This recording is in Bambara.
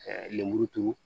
lenburuturu